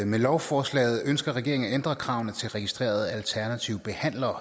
med lovforslaget ønsker regeringen at ændre kravene til registrerede alternative behandlere